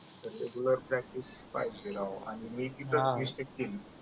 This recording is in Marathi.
रेगुलर प्रॅक्टिस पाहिजे राव आणि मी तिथच मिस्टेक केली